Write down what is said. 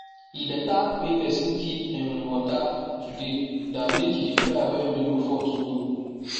e beta make pesin keep um water today than make e dey cry when rain no fall tomorrow